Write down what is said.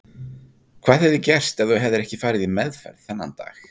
Hvað hefði gerst ef þú hefðir ekki farið í meðferð þennan dag?